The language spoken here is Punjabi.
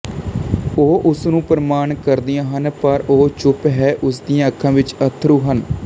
ਉਹ ਉਸ ਨੂੰ ਪ੍ਰਣਾਮ ਕਰਦੀਆਂ ਹਨ ਪਰ ਉਹ ਚੁੱਪ ਹੈ ਉਸਦੀਆਂ ਅੱਖਾਂ ਵਿੱਚ ਅੱਥਰੂ ਹਨ